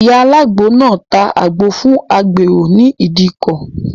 Ìyá alágbo náà ta àgbo fún agbèrò ní ìdíkọ̀.